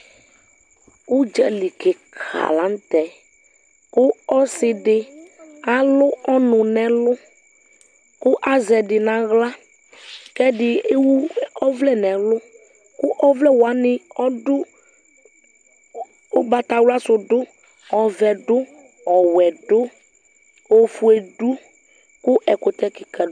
Ʋdzali kika la tɛ kʋ ɔsi di alʋ ɔnʋ n'ɛlʋ kʋ azɛ di n'aɣla kʋ ɛdi ewu ɔvlɛ n'ɛlʋ kʋ ɔvlɛ wani ɔdʋ, ʋgbatawla sʋ dʋ Ɔvɛ dʋ, ɔwɛ dʋ, ofue dʋ kʋ ɛkʋtɛ kika